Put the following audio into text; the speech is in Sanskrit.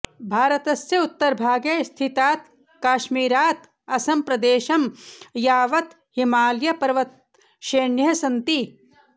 भारतस्य उत्तरभागे स्थितात् काश्मीरात् असमप्रदेशं यावत् हिमालयपर्वतश्रेण्यः सन्ति